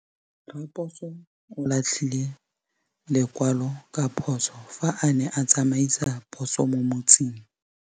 Raposo o latlhie lekwalô ka phosô fa a ne a tsamaisa poso mo motseng.